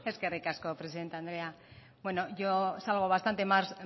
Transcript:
eskerrik asko presidente andrea bueno yo salgo bastante más